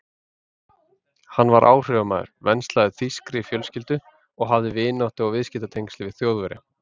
Hann var áhrifamaður, venslaður þýskri fjölskyldu og hafði vináttu- og viðskiptatengsl við Þjóðverja.